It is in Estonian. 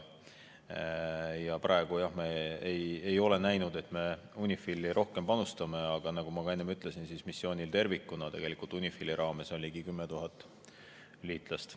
Praegu, jah, me ei ole näinud, et me UNIFIL-i rohkem panustame, aga nagu ma ka enne ütlesin, missioonil tervikuna on UNIFIL-i raames ligi 10 000 liitlast.